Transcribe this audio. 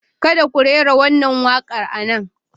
Kada ku rera wannan waƙar a nan!